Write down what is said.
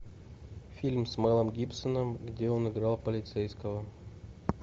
фильм с мэлом гибсоном где он играл полицейского